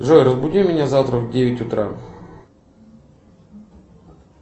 джой разбуди меня завтра в девять утра